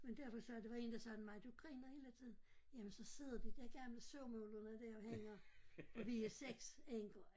Men derfor sagde der var en der sagde til mig du griner hele tiden jamen så sidder de der gamle surmulerne der og hænger for vi er 6 enker